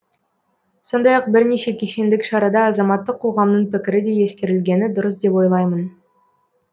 сондай ақ бірнеше кешендік шарада азаматтық қоғамның пікірі де ескерілгені дұрыс деп ойлаймын